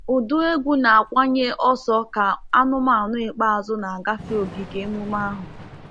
Ụdụ egwu na-akawanye ọsọ ka anụmanụ ikpeazụ na-agafe ogige emume ahụ.